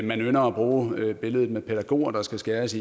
man ynder at bruge billedet med pædagoger der skal skæres